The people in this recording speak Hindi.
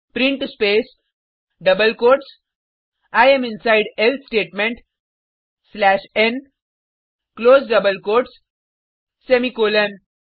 print space double quotes I am inside else statement slash n close double quotes semicolon